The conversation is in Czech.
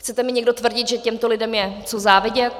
Chcete mi někdo tvrdit, že těmto lidem je co závidět?